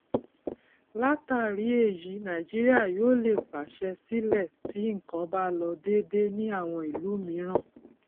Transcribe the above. látàrí èyí nàìjíríà yóò lè pàṣẹ sílẹ tí nkan bá lọ dédé ní àwọn ìlú mìíràn